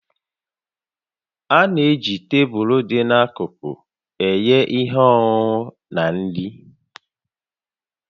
A na-eji tebụl dị n'akụkụ enye ihe ọṅụṅụ na nri